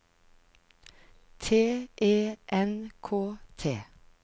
T E N K T